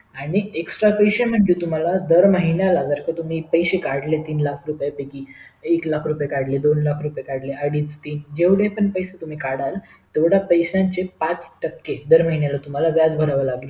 आणि extra पैसे म्हणजे तुम्हला दर महिन्याला जर का तुम्ही पैसे काढले तीन लाख रुपया पैकी एक लाख रुपय काढले दोन लाख रुपये काढले अडीच तीन जेवढे पण पैसे तुम्ही काढलं तेवढ्या पैसे चे पाच टके दर महिन्याला व्याज भरावे लागणार